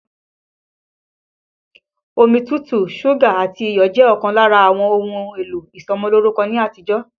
Omi tútù, súgà àti iyọ̀ jẹ́ ọ̀kan lára àwọn ohun èlò ìsọmọlórúkọ ní àtijọ́